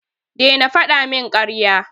Daina fada min karya.